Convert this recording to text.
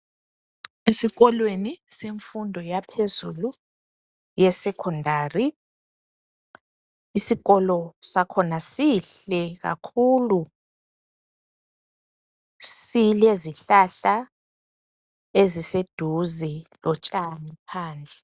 Esikolweni semfundo yaphezulu ye secondary .Isikolo sakhona sihle kakhulu. Silezihlahla eziseduze lotshani phandle.